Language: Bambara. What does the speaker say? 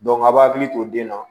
a b'a hakili to den na